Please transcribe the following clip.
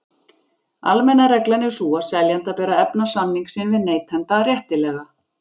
Almenna reglan er sú að seljanda ber að efna samning sinn við neytanda réttilega.